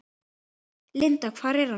Linda: Hvar er hann?